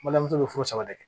Balimamuso bɛ furu saba de kɛ